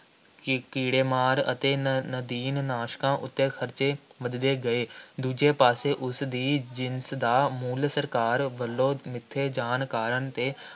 ਕੀ~ ਕੀੜੇਮਾਰ ਅਤੇ ਨਦੀਨ-ਨਾਸ਼ਕਾਂ ਉੱਤੇ ਖ਼ਰਚੇ ਵੱਧਦੇ ਗਏ । ਦੂਜੇ ਪਾਸੇ ਉਸ ਦੀ ਜਿਨਸ ਦਾ ਮੁੱਲ ਸਰਕਾਰ ਵੱਲੋਂ ਮਿੱਥੇ ਜਾਣ ਕਾਰਨ ਅਤੇ